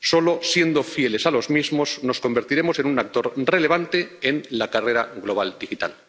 Solo siendo fieles a los mismos nos convertiremos en un actor relevante en la carrera global digital.